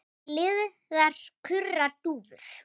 Blíðar kurra dúfur.